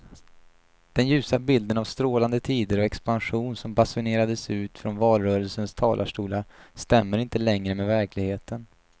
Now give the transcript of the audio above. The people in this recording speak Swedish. Den ljusa bilden av strålande tider och expansion som basunerades ut från valrörelsens talarstolar stämmer inte längre med verkligheten.